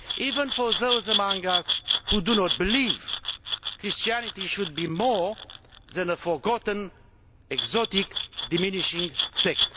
Even for those among us who do not believe, Christianity should be more than a forgotten, exotic and diminishing sect.